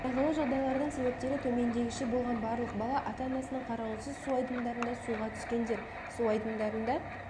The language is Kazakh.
қайғылы жағайлардың себептері төмендегіше болған барлық бала ата-анасының қарауынсыз су айдындарында суға түскендер су айдындарында